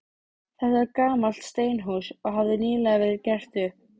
Þetta var gamalt steinhús, og hafði nýlega verið gert upp.